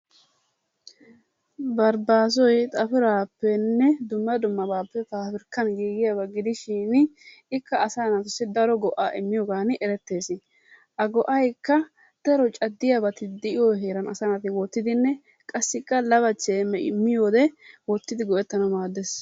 Barbbaassoy xappiraappenne dumma dummabaappe paabirkkan giigiyaba gidishin ikka asaa naatussi daro go'aa immiyogan eretees. A go'aykka daro caddiyabati de'iyo heeran asaa naati wottidinne qassikka lawachchay miyoode wottidi go'etanawu maadees.